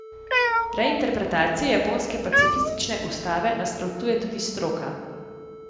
Reinterpretaciji japonske pacifistične ustave nasprotuje tudi stroka.